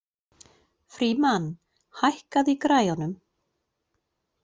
Frímann, hækkaðu í græjunum.